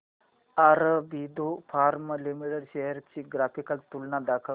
Aurobindo pharma limited shares ची graphical तुलना दाखव